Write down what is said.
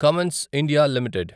Cummins India limited